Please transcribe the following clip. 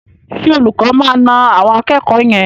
Ṣé olùkọ́ máa na àwọn akẹ́kọ̀ọ́ yẹn?